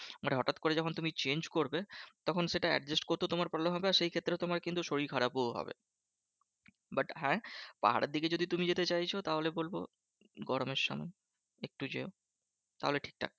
মানে হটাৎ করে যখন তুমি change করবে, তখন সেটা adjust করতেও সেটা problem হবে। আর সেই ক্ষেত্রে তোমার কিন্তু শরীর খারাপও হবে। but হ্যাঁ পাহাড়ের দিকে যদি তুমি যেতে চাইছো তাহলে বলবো গরমের সময় একটু যেও তাহলে ঠিকঠাক।